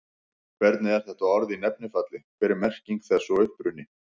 Hvernig er þetta orð í nefnifalli, hver er merking þess og uppruni?